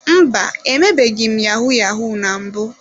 Mba, emebeghị m yahu-yahu na mbụ.